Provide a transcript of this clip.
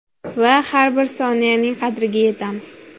Va har bir soniyaning qadriga yetamiz.